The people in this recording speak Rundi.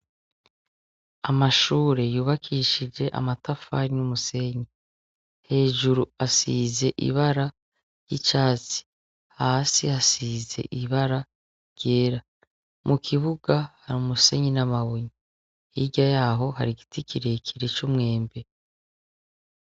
Amashure yubakishije amatafari n' umusenyi. Hejuru asize ibara ry' icatsi . Hasi hasize ibara ryera. Mu kibuga hari umusenyi n' amabuye. Hirya yaho hari igiti kirekire c' umwembe .